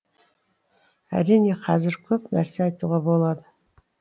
әрине қазір көп нәрсе айтуға болады